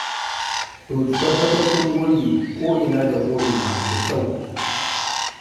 To, ki tabbatar kin goge ko'ina da ko'ina da kyau.